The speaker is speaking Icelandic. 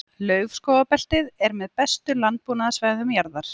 Laufskógabeltið er með bestu landbúnaðarsvæðum jarðar.